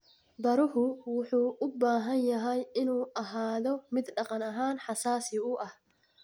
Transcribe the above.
Baruhu wuxuu u baahan yahay inuu ahaado mid dhaqan ahaan xasaasi u ah.